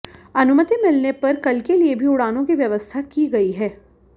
अनुमति मिलने पर कल के लिए भी उड़ानों की व्यवस्था की गई है